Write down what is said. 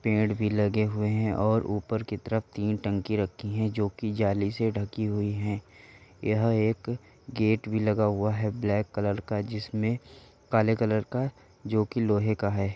पेड़ भी लगे हुए है। ऊपर की तरफ तीन टंकी रखी है जो कि जाली से ढंकी हुई हैं। यह एक गेट भी लगा हुआ है। ब्लैक कलर का जिसमे काले कलर का जो की लोहे का है।